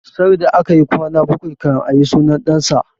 Sarda akayi kwana bakwai kan ayi sunan ɗan sa